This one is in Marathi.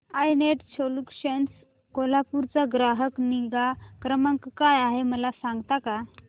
आय नेट सोल्यूशन्स कोल्हापूर चा ग्राहक निगा क्रमांक काय आहे मला सांगता का